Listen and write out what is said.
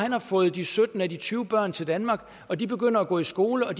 har fået de sytten af de tyve børn til danmark og de begynder at gå i skole og